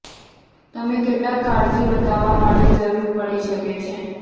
તમે કેટલાક કાળજી બતાવવા માટે જરૂર પડી શકે છે